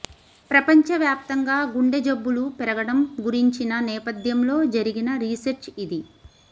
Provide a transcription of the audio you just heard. ప్రపంచ వ్వాప్తంగా గుండె జబ్బులు పెరగటం గురించిన నేపథ్యంలో జరిగిన రిసెర్చ్ ఇది